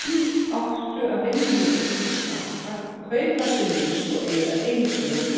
Menn áttu að vinna mikið og spara, kaupa sem minnst og eyða engu í óþarfa.